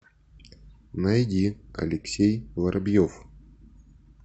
найди алексей воробьев